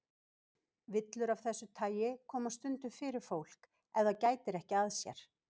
Villur af þessu tagi koma stundum fyrir fólk ef það gætir ekki að sér.